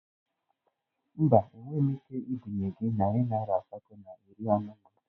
Mba, enweghị m ike ibinye gị narị naira asatọ na iri anọ na atọ